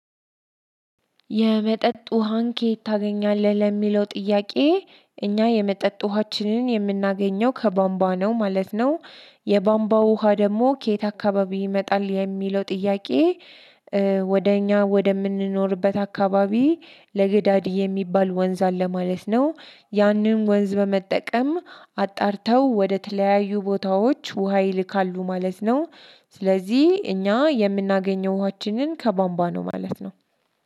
የመጠጥ ውሃን ከየት ታገኛለህ ለሚለው ጥያቄ? እኛ የመጠጥ ውሃችንን የምናገኘው ከቧንቧ ነው ማለት ነው። የቧንቧው ውሃ ደግሞ ከየት አካባቢ ይመጣል የሚለው ጥያቄ? ወደ እኛ ወደምንኖርበት አካባቢ ለገዳዲ የሚባል ወንዝ አለ ማለት ነው። ያንን ወንዝ በመጠቀም አጣርተው ወደ ተለያዩ ቦታዎች ውሃ ይልካሉ ማለት ነው። ስለዚህ እኛ የምናገኘው ውሃችንን ከቧንቧ ነው ማለት ነው።